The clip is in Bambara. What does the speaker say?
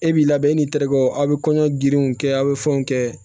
E b'i labɛn e ni terikɛw aw bɛ kɔɲɔ giriw kɛ a' bɛ fɛnw kɛ